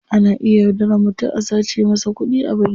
Ana iya yaudaran mutum a sace masa kudi a banki.